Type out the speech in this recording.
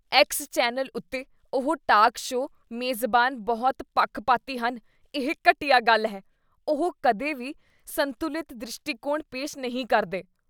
X channel ਉੱਤੇ ਉਹ talk show ਮੇਜ਼ਬਾਨ ਬਹੁਤ ਪੱਖਪਾਤੀ ਹਨ, ਇਹ ਘਟੀਆ ਗੱਲ ਹੈ। ਉਹ ਕਦੇ ਵੀ ਸੰਤੁਲਿਤ ਦ੍ਰਿਸ਼ਟੀਕੋਣ ਪੇਸ਼ ਨਹੀਂ ਕਰਦੇ ।